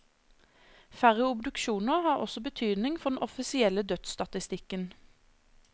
Færre obduksjoner har også betydning for den offisielle dødsstatistikken.